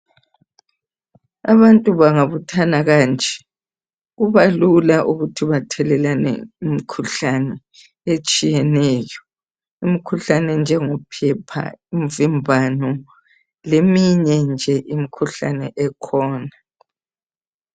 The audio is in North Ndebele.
Abantu bangabuthana kanje kubalula ukuthi bathelelane imikhuhlane etshiyeneyo. Imikhuhlane enjengophepha, imvimbano leminye nje imikhuhlane ekhona.